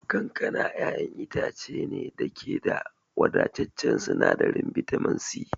Kankana ƴaƴan itace ne da ke da wadataccen sinadarin bitamin C.